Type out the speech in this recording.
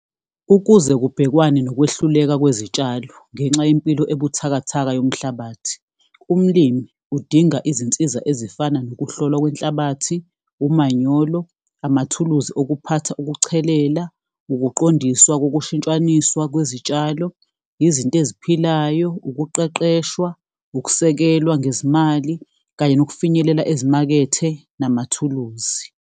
Ukuze kubhekwane nokwehluleka kwezitshalo ngenxa yempilo ebuthakathaka yomhlabathi. Umlimi udinga izinsiza ezifana nokuhlolwa kwenhlabathi, umanyolo, amathuluzi okuphatha ukuchelela, ukuqondiswa kokushintshaniswa kwezitshalo, izinto eziphilayo, ukuqeqeshwa, ukusekelwa ngezimali, kanye nokufinyelela ezimakethe namathuluzi.